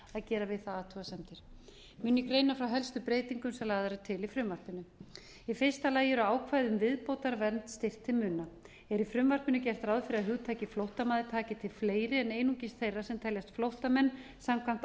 gera við það athugasemdir mun ég greina frá helstu breytingum sem lagðar eru til í frumvarpinu í fyrsta lagi eru ákvæði um viðbótarvernd styrkt til muna eru í frumvarpinu gert ráð fyrir að hugtakið flóttamaður taki til fleiri en einungis þeirra sem teljast flóttamenn samkvæmt